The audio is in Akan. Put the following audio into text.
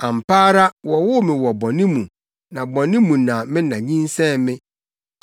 Ampa ara wɔwoo me wɔ bɔne mu, na bɔne mu na me na nyinsɛn me.